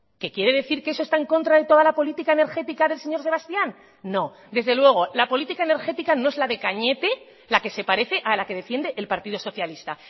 que quiere decir que eso está en contra de toda la política energética del señor sebastián no desde luego la política energética no es la de cañete la que se parece a la que defiende el partido socialista